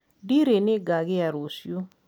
ndirī nīngãgīa rūciū